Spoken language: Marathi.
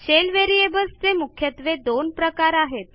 शेल व्हेरिएबल्स चे मुख्यत्वे दोन प्रकार आहेत